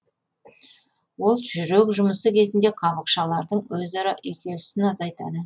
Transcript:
ол жүрек жұмысы кезінде қабықшалардың өзара үйкелісін азайтады